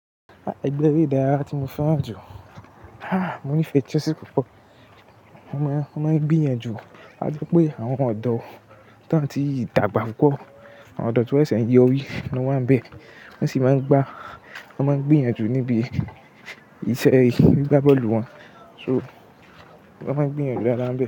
Ẹgbẹ́ eré ìdárayá tí mo fẹ́ràn jù? Mo nífẹ̀ẹ́ Chelsea púpọ̀. Wọ́n máa n--won maa ń gbiyanjù. A tí pé àwọn ọ̀dọ́ tan ti dàgbà púpọ̀, àwọn ọ̀dọ́ ti won sẹ̀sẹ̀ n yọrí ni wọ́n wà n bẹ̀. Wọ́n sì máa ń gbá, wọ́n máa ń gbiyanjù níbi iṣẹ́ gbigbá bọ́ọ̀lù wọn. So wọ́n máa ń gbiyanjù daádaa n be.